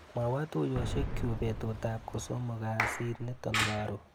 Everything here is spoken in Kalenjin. Mwawa tuiyoshekchu betutap kosomok kasit nito karon.